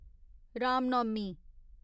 Ram Navami